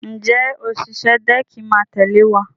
Ǹjẹ́ òṣìṣẹ́ dẹ́ẹ̀kì máa tẹ̀lé wa?